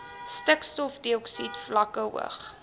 stikstofdioksied vlakke hoog